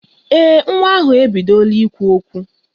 Ee, nwa ahụ ebidola ikwu okwu